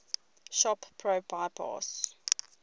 shop pro bypass